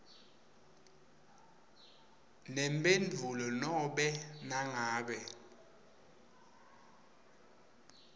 nemphendvulo nobe nangabe